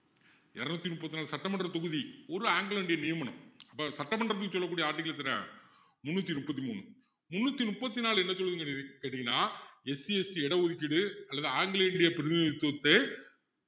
இருநூத்தி முப்பத்தி நாலு சட்டமன்ற தொகுதி ஒரு anglo indian நியமனம் அப்போ சட்டமன்றத்துக்கு செல்லக்கூடிய ஆட்கள் எத்தனை முந்நூத்தி முப்பத்து மூணு முந்நூத்தி முப்பத்து நாலு என்ன சொல்லுதுன்னு கேட்டீங்கன்னா SCST இட ஒதுக்கீடு அல்லது anglo indian பிரதிநிதித்துவத்தை